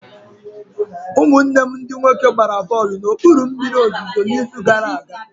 Ụmụ nwanne m ndị nwoke gbara bọlụ na okpuru mmiri ozuzo na izu gara aga